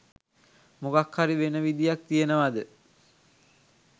මොකක් හරි වෙන විදියක් තියෙනවද?